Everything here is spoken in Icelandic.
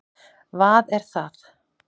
vað er það?